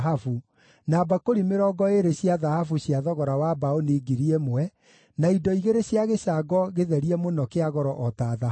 na mbakũri 20 cia thahabu cia thogora wa mbaũni 1,000, na indo igĩrĩ cia gĩcango gĩtherie mũno kĩa goro o ta thahabu.